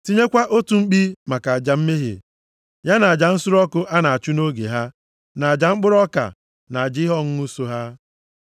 Tinyekwa otu mkpi maka aja mmehie, ya na aja nsure ọkụ a na-achụ nʼoge ha, na aja mkpụrụ ọka, na aja ihe ọṅụṅụ so ha.